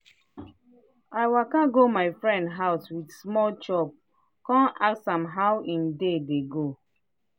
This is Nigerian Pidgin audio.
i waka go my friend house with small chop kon ask am how him day dey go.